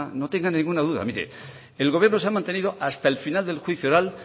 no tenga ninguna duda mire el gobierno se ha mantenido hasta el final del juicio oral